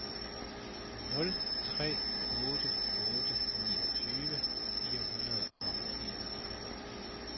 nul tre otte otte niogtyve fire hundrede og enogtredive